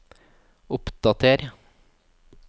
oppdater